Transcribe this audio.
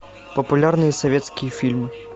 популярные советские фильмы